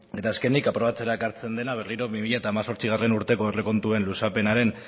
eta azkenik aprobatzera ekartzen dena berriro bi mila hemezortzi urteko aurrekontuen luzapenaren